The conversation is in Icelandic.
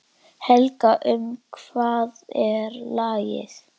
Helga, um hvað er lagið?